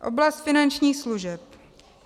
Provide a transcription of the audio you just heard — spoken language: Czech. Oblast finančních služeb.